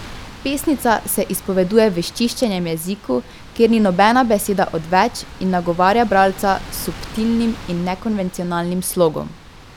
Pesnica se izpoveduje v izčiščenem jeziku, kjer ni nobena beseda odveč, in nagovarja bralca s subtilnim in nekonvencionalnim slogom.